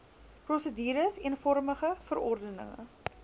prosedures eenvormige verordenige